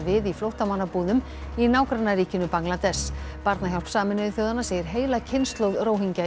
við í flóttamannabúðum í nágrannaríkinu Bangladess barnahjálp Sameinuðu þjóðanna segir heila kynslóð